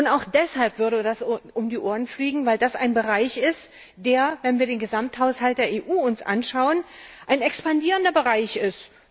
Auch deshalb würde ihm das um die Ohren fliegen, weil das ein Bereich ist, der, wenn wir uns den Gesamthaushalt der EU anschauen, ein expandierender Bereich ist.